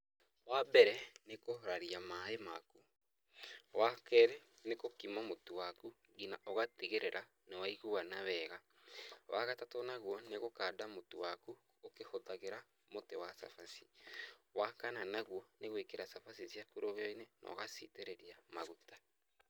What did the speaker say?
Wambere nĩ kũraria maaĩ maku, wakerĩ nĩ gũkima mũtu waku nginya ũgatigĩrĩra nĩwaiguana wega, wagatatũ naguo nĩ gũkanda mũtũ waku ũkĩhũthagĩra mũtĩ wa cabaci, wa kana naguo nĩ gwĩkĩra cabaci ciaku rũgĩyo-inĩ na ũgaciitĩrĩria maguta.